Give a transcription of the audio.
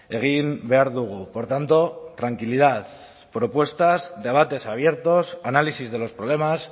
egin behar dugu por tanto tranquilidad propuestas debates abiertos análisis de los problemas